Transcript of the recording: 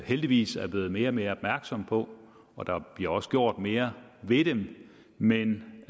heldigvis er blevet mere og mere opmærksom på og der bliver også gjort mere ved dem men